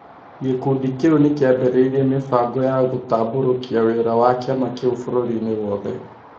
gĩkundi kĩu nĩ kĩambĩrĩirie mĩbango ya gũtambũrũkia wĩra wa kĩama kĩu bũrũri-inĩ wothe.